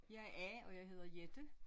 Jeg er A og jeg hedder Jette